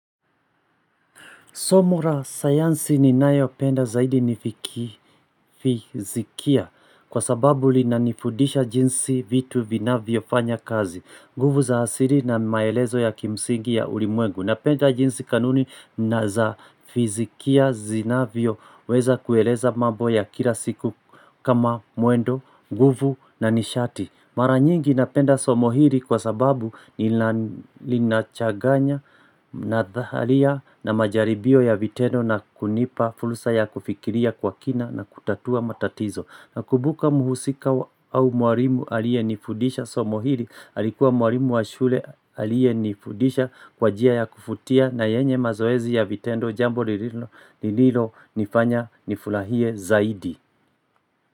Somo la sayansi ninayopenda zaidi ni fizikia, kwa sababu linanifudisha jinsi vitu vinavyofanya kazi. Nguvu za asili na maelezo ya kimsingi ya ulimwengu. Napenda jinsi kanuni na za fizikia zinavyoweza kueleza mambo ya kila siku kama muendo, nguvu na nishati. Mara nyingi napenda Somo hili kwa sababu nilinachaganya na dhalia na majaribio ya vitendo na kunipa fursa ya kufikiria kwa kina na kutatua matatizo. Nakumbuka muhusika au mwalimu aliye nifudisha Somo hili, alikuwa mwalimu wa shule aliyenifudisha kwa njia ya kuvutia na yenye mazoezi ya vitendo jambo lililo nifanya nifurahie zaidi.